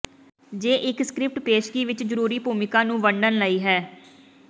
ਜੇ ਇੱਕ ਸਕਰਿਪਟ ਪੇਸ਼ਗੀ ਵਿੱਚ ਜ਼ਰੂਰੀ ਭੂਮਿਕਾ ਨੂੰ ਵੰਡਣ ਲਈ ਹੈ